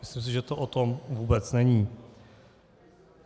Myslím si, že to o tom vůbec není.